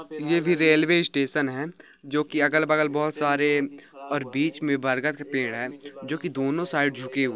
ये भी railway station है जो कि अगल बगल बहोत सारे और बीच मे बरगद का पेड़ है। जो की दोनो साईड झुके--